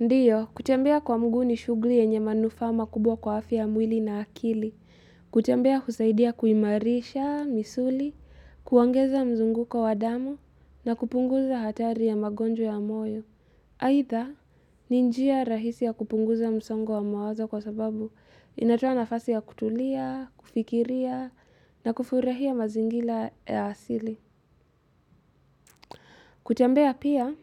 Ndiyo, kutembea kwa mguu ni shughuli yenye manufaa makubwa kwa afya ya mwili na akili, kutembea husaidia kuimarisha misuli, kuongeza mzunguko wa damu, na kupunguza hatari ya magonjwa ya moyo. Aidha, ni njia rahisi ya kupunguza msongo wa mawazo kwa sababu inatoa nafasi ya kutulia, kufikiria, na kufurahia mazingira ya asili. Kutembea pia